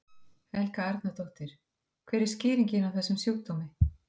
Helga Arnardóttir: Hver er skýringin á þessum sjúkdómi?